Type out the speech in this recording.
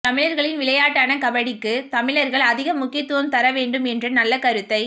தமிழர்களின் விளையாட்டான கபடிக்கு தமிழர்கள் அதிக முக்கியத்துவம் தர வேண்டும் என்ற நல்ல கருத்தை